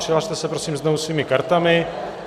Přihlaste se, prosím, znovu svými kartami.